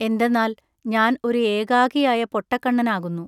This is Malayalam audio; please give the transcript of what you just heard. എന്തെന്നാൽ ഞാൻ ഒ രു ഏകാകിയായ പൊട്ടകണ്ണനാകുന്നു.